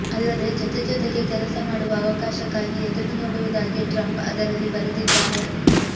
ಅಲ್ಲದೇ ಜೊತೆ ಜೊತೆಗೇ ಕೆಲಸ ಮಾಡುವ ಅವಕಾಶಕ್ಕಾಗಿ ಎದುರು ನೋಡುವುದಾಗಿ ಟ್ರಂಪ್ ಅದರಲ್ಲಿ ಬರೆದಿದ್ದಾರೆ